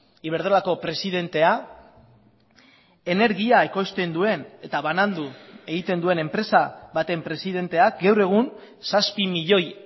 iberdrolako presidentea energia ekoizten duen eta banandu egiten duen enpresa baten presidenteak gaur egun zazpi milioi